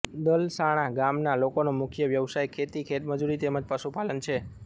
દલસાણા ગામના લોકોનો મુખ્ય વ્યવસાય ખેતી ખેતમજૂરી તેમ જ પશુપાલન છે